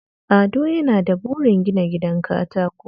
Ado yana da burin gina gidan katako